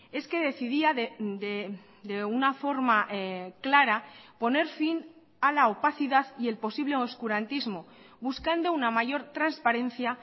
es que decidía de una forma clara poner fin a la opacidad y el posible oscurantismo buscando una mayor transparencia